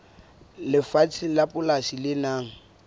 lefatshe la polasi le nang